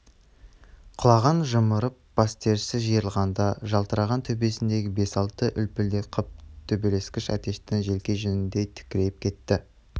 құлағын жымырып бастерісі жиырылғанда жалтыраған төбесіндегі бес алты үлпілдек қыл төбелескіш әтештің желке жүніндей тікірейіп кетті